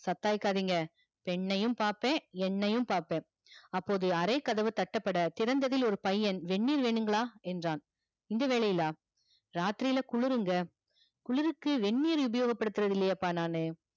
பெண்ணையும் பாப்ப எண்ணையும் பாப்ப அப்போது அரை கதவு தட்டப்பட திறந்ததில் ஒரு பையன் வெந்நீர் வேணுங்களா என்றான் இந்த வேலையிலா ராத்ரில குளுருங்க குளுருக்கு வெந்நீர் உபயோகம் படுத்துறது இல்லையே யப்பா நானு